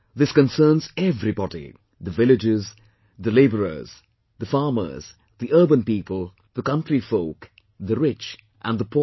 This concerns everybody the villages, the poor, the labourers, the farmers, the urban people, the country folk, the rich and the poor